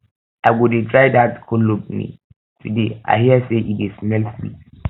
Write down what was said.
i go try dat cologne today i hear say e di smell sweet